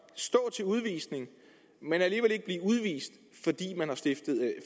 stå til udvisning men alligevel ikke blive udvist fordi man har stiftet